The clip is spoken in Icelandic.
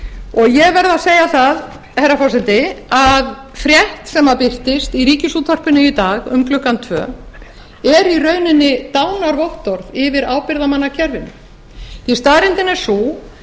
og ég verð að segja það herra forseti að frétt sem að birtist í ríkisútvarpinu í dag um klukkan tvö er í rauninni dánarvottorð yfir ábyrgðarmannakerfinu því staðreyndin er sú